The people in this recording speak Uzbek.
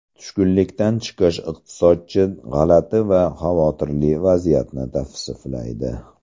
Tushkunlikdan chiqish Iqtisodchi g‘alati va xavotirli vaziyatni tavsiflaydi.